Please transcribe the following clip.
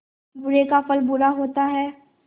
बुरे का फल बुरा होता है